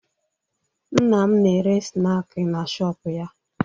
Nne m na-ere snaakị na shọọpụ ya